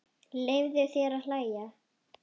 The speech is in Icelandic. Leyfðu þér að hlæja.